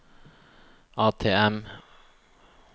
ATM